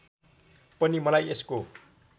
पनि मलाई यसको